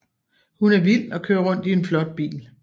Hun er vild og kører rundt i en flot bil